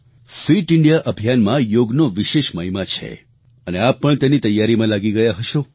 fit India અભિયાનમાં યોગનો વિશેષ મહિમા છે અને આપ પણ તેની તૈયારીમાં લાગી ગયા હશો